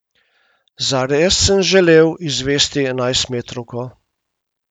Zares sem želel izvesti enajstmetrovko.